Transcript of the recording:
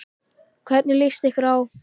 Hvernig lýst ykkur á?